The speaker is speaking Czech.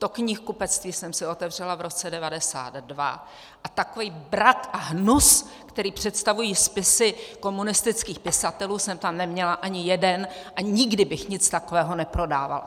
To knihkupectví jsem si otevřela v roce 1992 a takový brak a hnus, který představují spisy komunistických pisatelů, jsem tam neměla ani jeden a nikdy bych nic takového neprodávala.